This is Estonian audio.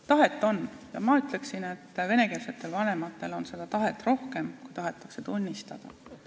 Tahet on ja ma ütleksin, et venekeelsetel vanematel on seda tahet rohkem, kui tahetakse tunnistada.